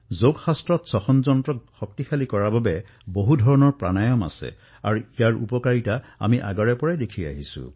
যোগত শ্বাসপ্ৰশ্বাস ব্যৱস্থাক শক্তিশালী কৰা বিভিন্ন ধৰণৰ প্ৰাণায়াম আছে আৰু ইয়াৰ প্ৰভাৱ আমি দীৰ্ঘ সময় ধৰি দেখা পাইছো